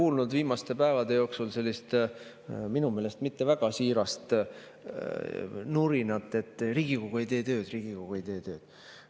Olen viimaste päevade jooksul kuulnud sellist minu meelest mitte väga siirast nurinat, et Riigikogu ei tee tööd, Riigikogu ei tee tööd.